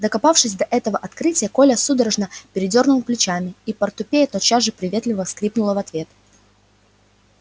докопавшись до этого открытия коля судорожно передёрнул плечами и портупея тотчас же приветливо скрипнула в ответ